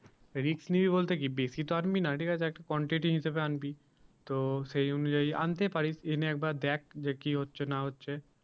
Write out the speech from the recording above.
Risk নিবি বলতে কি বেশি তো আনবি না ঠিক আছে একটা quantity হিসাবে আনবি তো সেই অনুযায়ী আনতে পারিস এনে একবার দেখ যে কি হচ্ছে না হচ্ছে